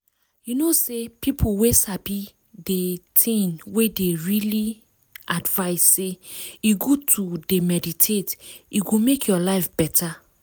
u know sey people wey sabi dey thing well dey really advice sey e good to d meditate e go make ur life beta.